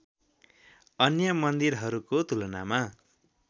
अन्य मन्दिरहरूको तुलनामा